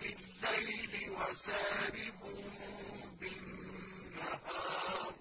بِاللَّيْلِ وَسَارِبٌ بِالنَّهَارِ